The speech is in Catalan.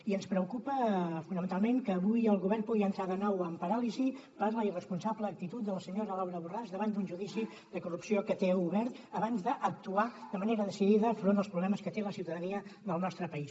i ens preocupa fonamentalment que avui el govern pugui entrar de nou en paràlisi per la irresponsable actitud de la senyora laura borràs davant d’un judici de corrupció que té obert abans d’actuar de manera decidida front als problemes que té la ciutadania del nostre país